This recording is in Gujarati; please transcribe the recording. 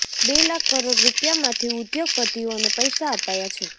બે લાખ કરોડ રૂપિયામાંથી ઉદ્યોગપતિઓને પૈસા અપાયા છે